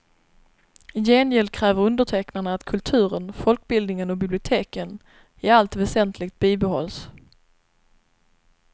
I gengäld kräver undertecknarna att kulturen, folkbildningen och biblioteken i allt väsentligt bibehålls.